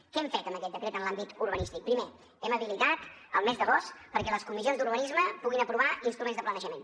què hem fet amb aquest decret en l’àmbit urbanístic primer hem habilitat el mes d’agost perquè les comissions d’urbanisme puguin aprovar instruments de planejament